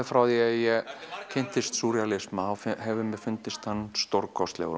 frá því ég kynntist súrrealisma hefur mér fundist hann stórkostlegur